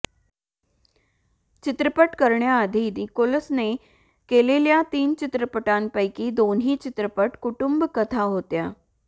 चित्रपट करण्याआधी निकोल्सने केलेल्या तीन चित्रपटांपैकी दोन्ही चित्रपट कुटुंबकथा होत्या